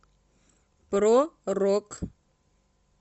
про рок